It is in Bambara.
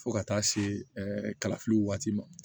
Fo ka taa se kalafili waati ma